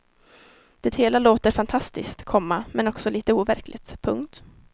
Det hela låter fantastiskt, komma men också litet overkligt. punkt